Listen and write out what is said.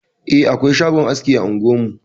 Eh, akwai shagon aski a unguwar mu.